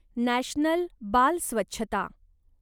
national बाल स्वच्छता